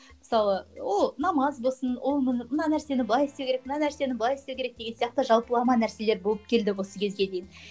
мысалы ол намаз болсын ол мына нәрсені былай істеу керек мына нәрсені былай ұстау керек деген сияқты жалпылама нәрселер болып келді осы кезге дейін